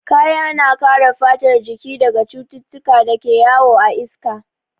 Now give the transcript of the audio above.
Kaya na kare fatar jiki daga cututtukan da ke yawo a iska.